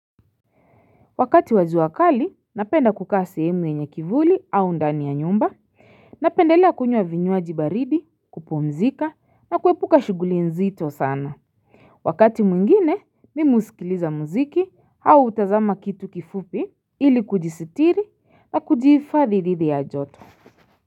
Wakati wa jua kali napenda kukaa sehemu yenye kivuli au ndani ya nyumba Napendelea kunywa vinyuaji baridi kupumzika na kuepuka shughuli nzito sana Wakati mwingine mim husikiliza muziki au hutazama kitu kifupi ili kujistiri na kujihifadhi dhidi ya joto.